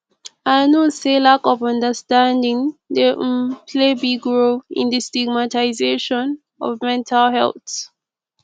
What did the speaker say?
i know say lack of understanding dey um play big role in di stigamtization of mental health